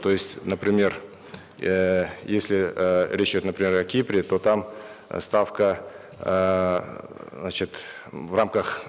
то есть например эээ если эээ речь идет например о кипре то там ставка эээ значит в рамках